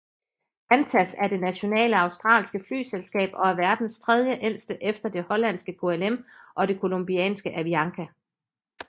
Qantas er det nationale australske flyselskab og er verdens tredjeældste efter det hollandske KLM og det colombianske Avianca